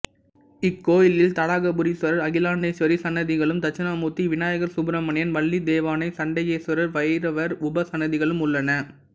இக்கோயிலில் தடாகபுரீஸ்வரர் அகிலாண்டேஸ்வரி சன்னதிகளும் தட்சிணாமூர்த்தி விநாயகர் சுப்ரமணியன் வள்ளி தெய்வானை சண்டிகேஸ்வரர் பைரவர் உபசன்னதிகளும் உள்ளன